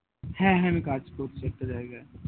হ্যাঁ হ্যাঁ আমি কাজ করছি একটা জায়গায়